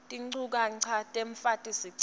tinchukaca temfaki sicelo